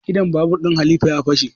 Idon babur ɗin halifa ya fashe